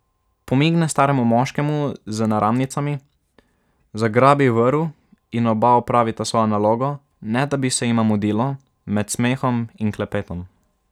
Pomigne staremu moškemu z naramnicami, zagrabi vrv in oba opravita svojo nalogo, ne da bi se jima mudilo, med smehom in klepetom.